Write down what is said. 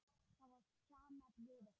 Það var stjanað við okkur.